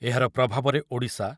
ଏହାର ପ୍ରଭାବରେ ଓଡ଼ିଶା